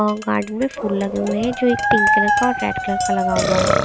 और गार्डन में फुल लगे हुए हैं जो एक पिंक कलर का और एक रेड कलर का लगा हुआ है।